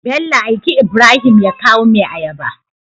bello aiki ibrahim ya kaw mai ayaba